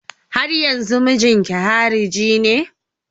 Haryanzun mijinki hariji ne?